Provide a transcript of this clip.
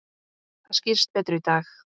Það skýrist betur í dag.